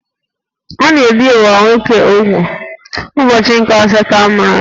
A na-ebì nwa nwoke úgwù n'ubọchi nke asatọ a mụrụ ya